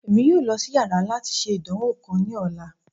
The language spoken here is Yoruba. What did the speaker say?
Emi yoo lọ si yàrá lati ṣe idanwo kan ni ọla